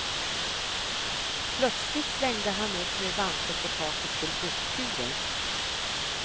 Plötsligt slängde han upp min vante på taket till busskuren.